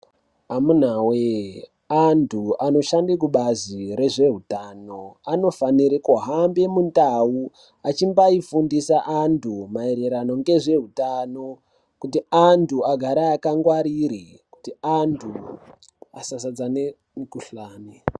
Amuna we antu anoshande kubazi rezve utano anofanire kuhamba mu ndau achimbai fundisa antu maererano ngezve utano kutu antu agare aka ngwarire kuti antu asa zadzane mikuhlani.